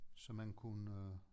Så man kunne øh